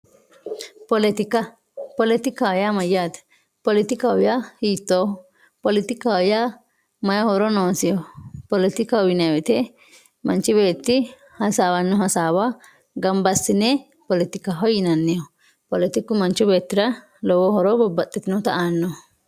politika. politika yaa mayyaate poletikaho yaa hiittooho poletikaho yaa mayii horo noosiho poletikaho yinayii woyiite manchi beetti hasaawanno hasaawa ganba assine poletikaho yinanniho poletiku manchu beettira lowo horo babbaxxitinota aannoho.